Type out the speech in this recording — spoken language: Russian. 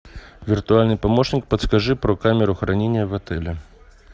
виртуальный помощник подскажи про камеру хранения в отеле